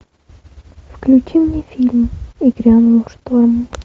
включи мне фильм и грянул шторм